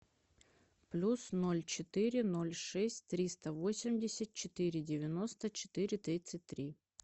плюс ноль четыре ноль шесть триста восемьдесят четыре девяносто четыре тридцать три